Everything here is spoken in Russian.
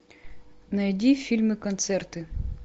найди фильмы концерты